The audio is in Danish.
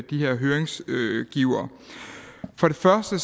de her høringsgivere for det første